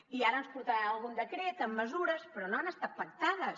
i ara ens portaran algun decret amb mesures però no han estat pactades